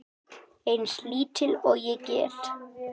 Eins lítil og ég get.